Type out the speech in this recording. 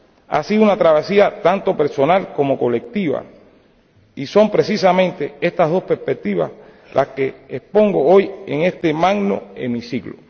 Ha sido una travesía tanto personal como colectiva, y son precisamente estas dos perspectivas las que expongo hoy en este magno hemiciclo.